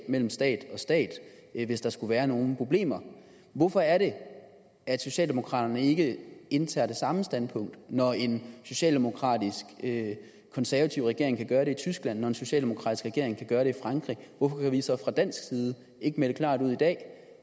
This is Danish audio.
mellem stat og stat hvis der skulle være nogle problemer hvorfor er det at socialdemokraterne ikke indtager det samme standpunkt når en socialdemokratisk konservativ regering kan gøre det i tyskland når en socialdemokratisk regering kan gøre det i frankrig hvorfor kan vi så fra dansk side ikke melde klart ud i dag